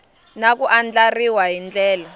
na ku andlariwa hi ndlela